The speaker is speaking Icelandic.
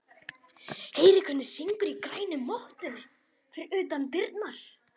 Heyrir hvernig syngur í grænu mottunni fyrir utan dyrnar.